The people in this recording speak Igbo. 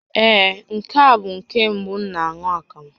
Ee, nke a bụ nke mbụ m na-aṅụ akamụ